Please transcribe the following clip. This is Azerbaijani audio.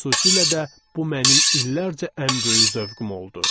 Xüsusilə də bu mənim illərcə ən böyük zövqüm oldu.